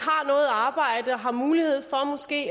har har mulighed for måske